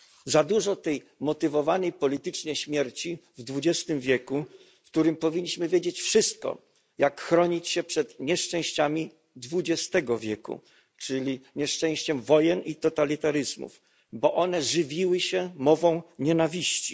Za dużo tej motywowanej politycznie śmierci w XXI wieku, w którym powinniśmy wiedzieć wszystko, jak chronić się przed nieszczęściami XX wieku, czyli nieszczęściem wojen i totalitaryzmów, bo one żywiły się mową nienawiści.